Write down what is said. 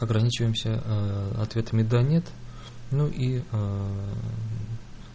ограничиваемся ответами да нет ну и